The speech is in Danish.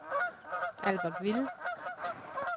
Albertville